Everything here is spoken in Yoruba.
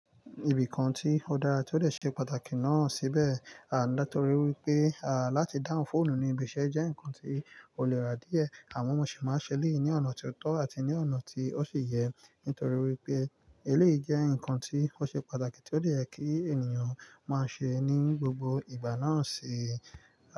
Ìbìkàn tí ó dára tí ó dè ṣe pàtàkì náà síbẹ̀, à nítorí wípé, à láti dáhùn fóònù ní ibi iṣẹ́ jẹ́ ǹkan tí ó nirà díẹ̀, àmọ mọ ṣe máa n ṣẹ́ eléyi ní ọ̀nà ti ó tọ́ àti ní ọ̀nà tí ó ṣi yẹ, nítorí wípé eléyìí jẹ́ ǹkan tí ó ṣe pàtàkì tí ó dè kí ènìyàn máa ṣe ní gbogbo ìgbà náà ṣi.